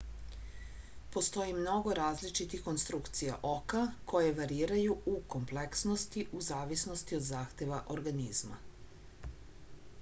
postoji mnogo različitih konstrukcija oka koje variraju u kompleksnosti u zavisnosti od zahteva organizma